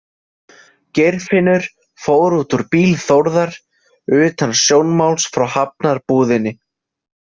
Geirfinnur fór út úr bíl Þórðar utan sjónmáls frá Hafnarbúðinni.